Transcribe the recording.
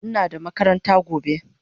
Ina da makaranta gobe